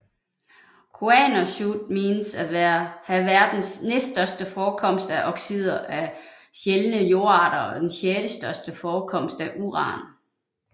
Kuannersuit menes at have verdens næststørste forekomst af oxider af sjældne jordarter og den sjettestørste forekomst af uran